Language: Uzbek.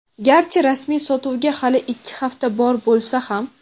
garchi rasmiy sotuvga hali ikki hafta bor bo‘lsa ham.